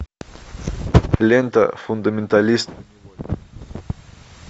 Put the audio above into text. лента фундаменталист